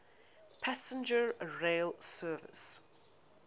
passenger rail service